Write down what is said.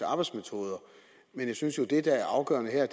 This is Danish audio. arbejdsmetoder jeg synes jo det der er afgørende her